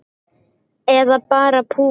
Eða bara púki.